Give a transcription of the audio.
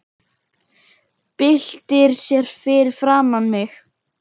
Byltir sér fyrir framan mig.